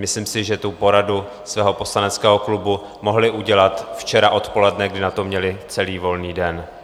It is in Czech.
Myslím si, že tu poradu svého poslaneckého klubu mohli udělat včera odpoledne, kdy na to měli celý volný den.